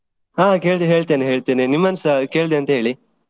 ಹಾ ಕೇಳಿದ್ದು ಹೇಳ್ತೆನೆ ಹೇಳ್ತೆನೆ ನಿಮ್ಮನ್ಸ ಕೇಳಿದ್ದೆ ಅಂತ ಹೇಳಿ.